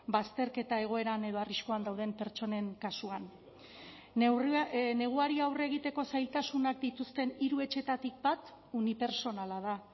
bazterketa egoeran edo arriskuan dauden pertsonen kasuan neguari aurre egiteko zailtasunak dituzten hiru etxetatik bat unipertsonala da